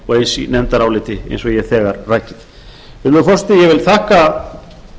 og eins í nefndaráliti eins og ég hef þegar rakið virðulegur forseti ég vil þakka